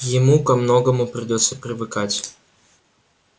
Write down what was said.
ему ко многому придётся привыкать